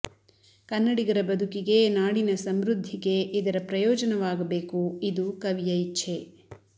ಕನ್ನಡಿಗರ ಬದುಕಿಗೆ ನಾಡಿನ ಸಮೃದ್ಧಿಗೆ ಇದರ ಪ್ರಯೋಜನವಾಗಬೇಕು ಇದು ಕವಿಯ ಇಚ್ಛೆ